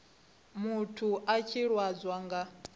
muthu a tshi lwadzwa nga